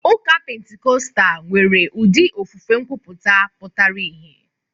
Ụka Pentikọstal nwere ụdị ofufe nkwuputa pụtara ìhè.